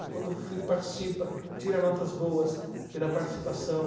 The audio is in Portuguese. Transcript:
E quando o filho participa, tira notas boas pela participação.